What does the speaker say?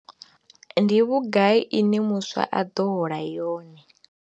Ndi vhugai ine muswa a ḓo hola yone?